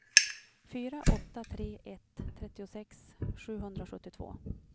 fyra åtta tre ett trettiosex sjuhundrasjuttiotvå